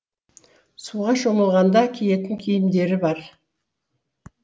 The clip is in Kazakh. суға шомылғанда киетін киімдері бар